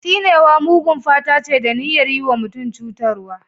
Tsinewa mugun fata ce, da niyyar yi wa mutum cutarwa.